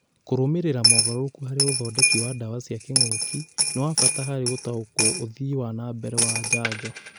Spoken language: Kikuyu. Kũrũmĩrĩra moogarũrũku harĩ ũthondeki wa ndawa cia kĩng'oki nĩ wa bata harĩ gũtaũkwo ũthii wanambere wa njanjo